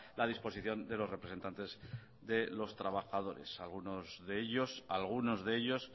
la disposición de los representantes de los trabajadores algunos de ellos algunos de ellos